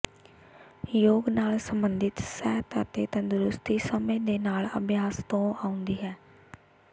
ਯੋਗ ਨਾਲ ਸਬੰਧਿਤ ਸਿਹਤ ਅਤੇ ਤੰਦਰੁਸਤੀ ਸਮੇਂ ਦੇ ਨਾਲ ਅਭਿਆਸ ਤੋਂ ਆਉਂਦੀ ਹੈ